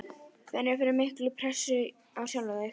Finnurðu fyrir mikilli pressu á sjálfan þig?